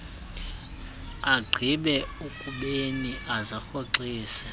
agqibe ukubeni azirhoxise